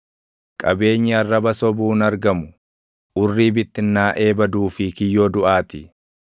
Qabeenyi arraba sobuun argamu, urrii bittinnaaʼee baduu fi kiyyoo duʼaa ti.